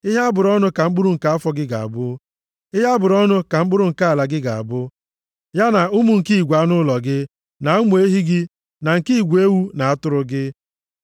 Ihe a bụrụ ọnụ ka mkpụrụ nke afọ gị ga-abụ, ihe a bụrụ ọnụ ka mkpụrụ nke ala gị ga-abụ, ya na ụmụ nke igwe anụ ụlọ gị, na ụmụ ehi gị na nke igwe ewu na atụrụ gị mụrụ.